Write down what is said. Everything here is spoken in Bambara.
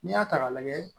N'i y'a ta k'a lajɛ